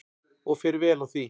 Og fer vel á því.